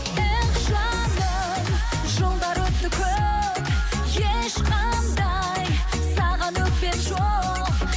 эх жаным жылдар өтті көп ешқандай саған өкпем жоқ